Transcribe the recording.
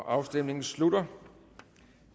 afstemningen slutter